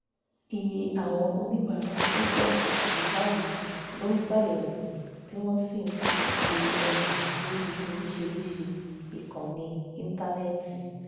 iye àwọn oníbàárà tó ń pọ̀ sí i báyìí ló ṣàyẹ̀wò tí wọ́n sì ń fi iye ọjà lórí oríṣiríṣi ìkànnì íńtánẹ́ẹ̀tì